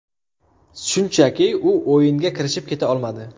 Shunchaki u o‘yinga kirishib keta olmadi.